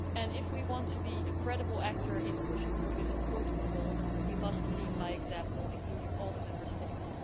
If we want to be a credible actor in pushing for this important goal, we must lead by example with the inclusion of all Member States.